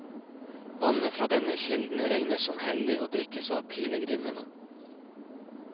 Vannet fra denne kilden regnes som hellig og drikkes av pilegrimene.